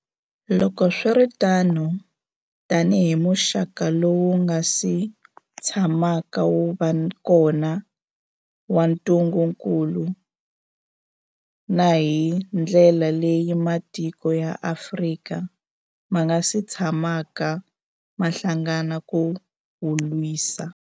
Loko swi ri tano, tanihi muxaka lowu wu nga si tshamaka wu va kona wa ntungukulu, na hi ndlela leyi matiko ya Afrika ma nga si tshamaka ma hlangana ku wu lwisa.